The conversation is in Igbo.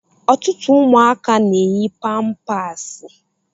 Ọtụtụ ụmụaka na-eyi pampaasi.